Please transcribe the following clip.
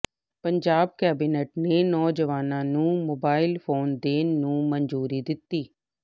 Punjab cabinet ਨੇ ਨੌਜਵਾਨਾਂ ਨੂੰ ਮੋਬਾਇਲ ਫੋਨ ਦੇਣ ਨੂੰ ਮਨਜ਼ੂਰੀ ਦਿੱਤੀ